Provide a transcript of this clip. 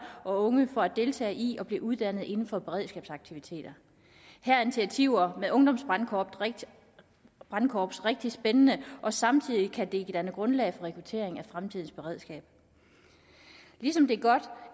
og unge for at deltage i og blive uddannet inden for beredskabsaktiviteter her er initiativer med ungdomsbrandkorps rigtig spændende og samtidig kan det danne grundlag for rekruttering fremtidens beredskab ligesom det er godt